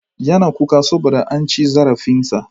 Yana kuka saboda an ci zarafin sa.